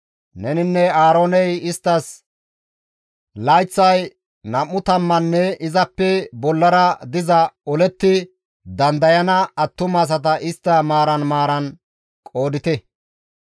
Neninne Aarooney isttas layththay nam7u tammunne izappe bollara diza oletti dandayana attumasata istta maaran maaran qoodite.